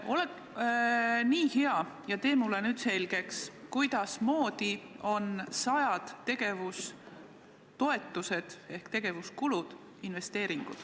Ole nii hea ja tee mulle selgeks, kuidas saavad sajad tegevustoetused ehk tegevuskulud olla investeeringud.